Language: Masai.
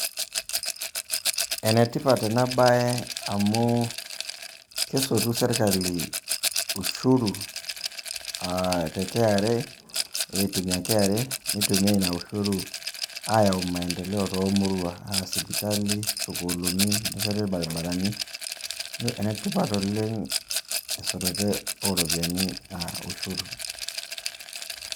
Ene tipat ena baye amu kesotu sirkali ushuru a te KRA egira aitumia KRA neyau nitumia ina ushuru ayau maendeleo to murua a sipitalini, sukuuliuni, nesheti irbarabarani, ene tipat oleng' esotore o ropiani a ushuru.